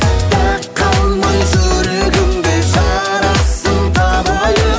дақ қалмай жүрегіңде жарасым табайық